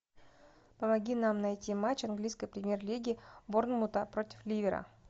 помоги нам найти матч английской премьер лиги борнмута против ливера